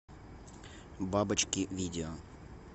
бабочки видео